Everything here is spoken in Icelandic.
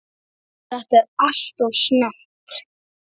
Þetta er alltof snemmt.